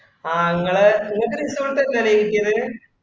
ആഹ് ഇങ്ങളെ ഇങ്ങക്ക് resort തന്നെയാ കിട്ടിയത്‌.